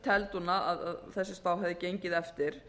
teldi hún að þessi spá hefði gengið eftir